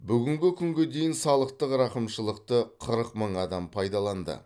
бүгінгі күнге дейін салықтық рақымшылықты қырық мың адам пайдаланды